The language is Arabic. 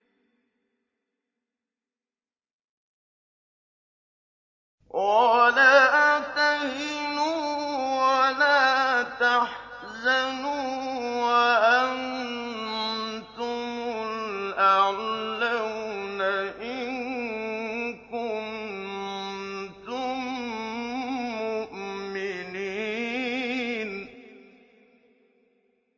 وَلَا تَهِنُوا وَلَا تَحْزَنُوا وَأَنتُمُ الْأَعْلَوْنَ إِن كُنتُم مُّؤْمِنِينَ